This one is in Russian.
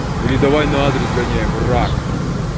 или давай на адрес сгоняем рак